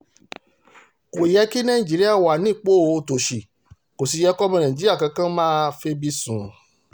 kò yẹ kí nàìjíríà wà nípò òtòṣì kó sì yẹ kọ́mọ nàìjíríà kan máa febi sùn